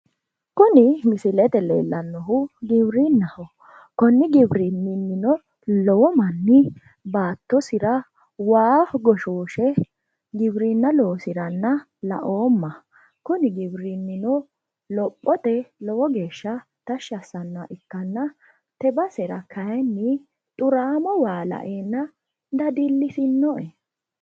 Kuni misilete Leellannohu giwirinnaho. Konni giwirinniwiinnino lowo manni baattosira waa goshooshe giwirinna loosiranna laoomma. Kuni giwirinnino lophote lowo geeshsha tashshi assannoha ikkanna te basera kayinni xuraamo waa laeenna dadillisinoe.